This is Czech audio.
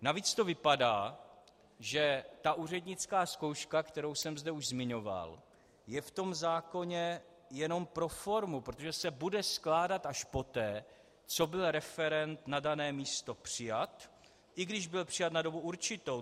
Navíc to vypadá, že ta úřednická zkouška, kterou jsem zde už zmiňoval, je v tom zákoně jenom pro formu, protože se bude skládat až poté, co byl referent na dané místo přijat, i když byl přijat na dobu určitou.